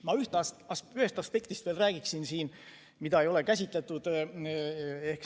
Ma räägiksin siin veel ühest aspektist, mida ei ole käsitletud.